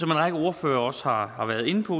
række ordførere også har har været inde på